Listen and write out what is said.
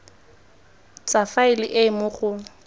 tsa faele e mo go